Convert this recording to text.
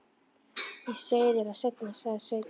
Ég segi þér það seinna, sagði Sveinn.